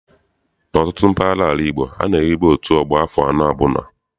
N'ọtụtụ mpaghara ala Igbo, a na-ehibe otu ọgbọ afọ anọ ọbụla.